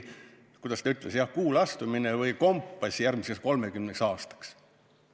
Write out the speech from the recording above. –, et see on nagu Kuule astumine või kompass järgmiseks 30 aastaks.